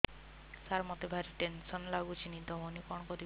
ସାର ମତେ ଭାରି ଟେନ୍ସନ୍ ଲାଗୁଚି ନିଦ ହଉନି କଣ କରିବି